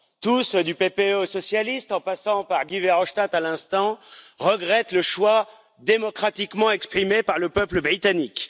Tous, du PPE aux socialistes, en passant par Guy Verhofstadt à l'instant, regrettent le choix démocratiquement exprimé par le peuple britannique.